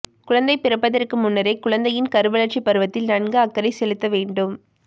குழந்தை பிறப்பதற்கு முன்னரே குழந்தையின் கருவளர்ச்சிப் பருவத்தில் நன்கு அக்கறை செலுத்த வேண்டும்